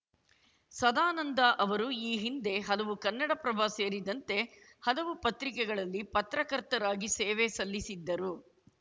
ಸದಾನಂದ ಅವರು ಈ ಹಿಂದೆ ಹಲವು ಕನ್ನಡಪ್ರಭ ಸೇರಿದಂತೆ ಹಲವು ಪತ್ರಿಕೆಗಳಲ್ಲಿ ಪತ್ರಕರ್ತರಾಗಿ ಸೇವೆ ಸಲ್ಲಿಸಿದ್ದರು